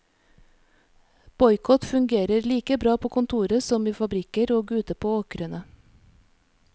Boikott fungerer like bra på kontoret som i fabrikker og ute på åkrene.